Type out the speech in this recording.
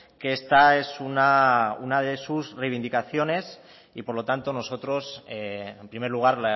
que esta es una de sus reivindicaciones y por lo tanto nosotros en primer lugar